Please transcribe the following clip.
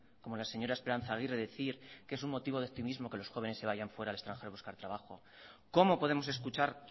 como la señora esperanza aguirre decir que es un motivo de optimismo que los jóvenes se vayan fuera al extranjero a buscar trabajo cómo podemos escuchar